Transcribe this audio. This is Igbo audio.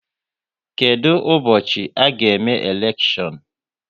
Kedụ ụbọchị a ga-eme elekshion?